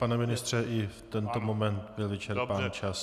Pane ministře, i v tento moment byl vyčerpán čas.